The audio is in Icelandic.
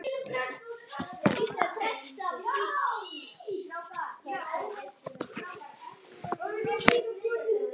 Hvað borðar þú um jólin?